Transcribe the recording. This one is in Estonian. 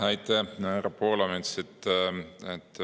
Aitäh, härra Poolamets!